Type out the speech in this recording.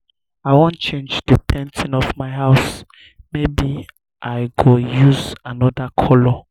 i wan change the painting of my house maybe i i go use another colour